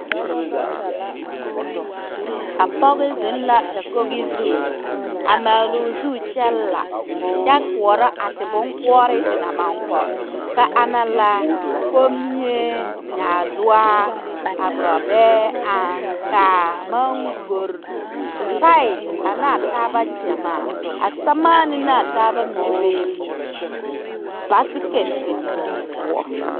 A pɔge zeŋ la dakogi zu a maale o zu kyɛ la kyɛ koɔrɔ a te boŋkoɔre te naŋ maŋ kɔ, ka ana la kɔmmie, nyaadoɔ, aborɔbɛ, aŋkaa, maŋgori, pai anaa taaba gyɛmaa, a samaane naa taaba bee be basikɛte bilii poɔ.